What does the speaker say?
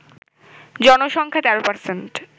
জনসংখ্যার ১৩%